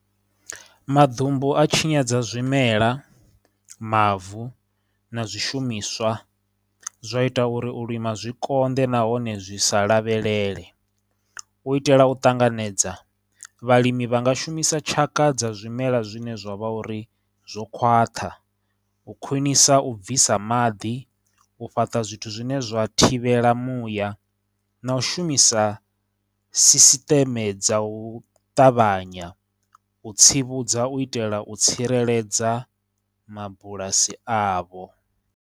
Maḓumbu a tshinyadza zwimela, mavu, na zwishumiswa, zwa ita uri u lima zwi konḓe nahone zwi sa lavhelele. U itela u ṱanganedza, vhalimi vha nga shumisa tshaka dza zwimela zwine zwa vha uri zwo khwaṱha, u khwinisa u bvisa maḓi, u fhaṱa zwithu zwine zwa thivhela muya, na u shumisa sisiṱeme dza u ṱavhanya u tsivhudza u itela u tsireledza mabulasi avho.